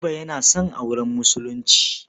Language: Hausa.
Buba yana son auren Musulunci.